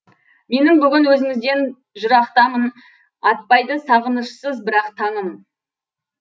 мен бүгін өзіңізден жырақтамын атпайды сағынышсыз бірақ таңым